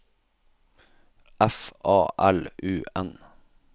F A L U N